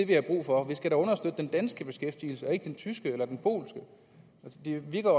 vi har brug for vi skal da understøtte den danske beskæftigelse og ikke den tyske eller den polske det virker